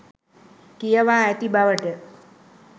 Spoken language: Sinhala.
කියවා ඇති බවට